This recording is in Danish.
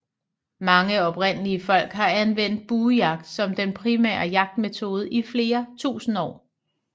Mange oprindelige folk har anvendt buejagt som den primære jagtmetode i flere tusinde år